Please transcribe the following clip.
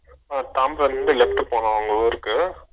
உம் தாம்பரத்துல இருந்து Noise left போகணும்னா அவங்க ஊருக்கு